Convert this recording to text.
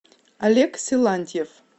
олег силантьев